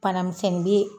Bana misɛnnin bee